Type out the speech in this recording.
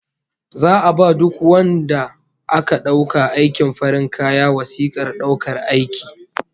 Za'a ba duk wadanda aka dauka aikin farin kaya wasikar daukar aiki